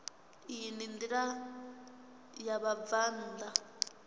iyi ndi ya vhabvann ḓa